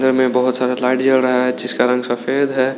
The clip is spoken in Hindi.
में बहुत सारा लाइट जल रहा है जिस का रंग सफेद है।